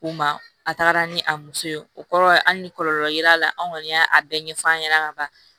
O ma a taara ni a muso ye o kɔrɔ hali ni kɔlɔlɔ ye l'a la an kɔni y'a bɛɛ ɲɛf'an ɲɛna ka ban